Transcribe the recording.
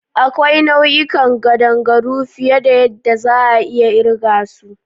Akwai nau'ikan kadangaru fiye da yadda za'a iya kirga su.